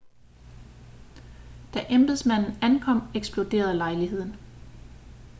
da embedsmanden ankom eksploderede lejligheden